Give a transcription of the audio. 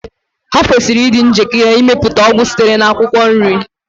Ha kwesịrị ịdị njikere ịmepụta ọgwụ sitere na akwụkwọ nri